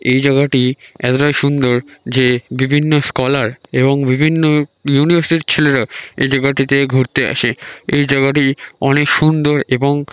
এই জায়গাটি এতটা সুন্দর যে বিভিন্ন স্কলার এবং বিভিন্ন ইউনিভার্সিটির ছেলেরা এই জায়গাটিতে ঘুরতে আসে । এই জায়গাটি অনেক সুন্দর এবং--